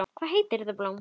Hvað heitir þetta blóm?